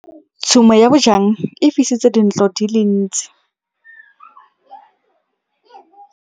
Tshumô ya bojang e fisitse dintlo di le dintsi.